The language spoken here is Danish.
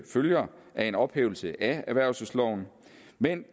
følger af en ophævelse af erhvervelsesloven men